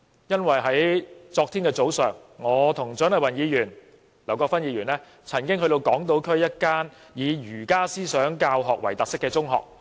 因為在昨天早上，我與蔣麗芸議員及劉國勳議員曾到訪港島區一間以儒家思想教學為特色的中學。